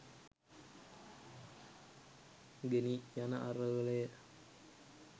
ගෙනි යන අරගලය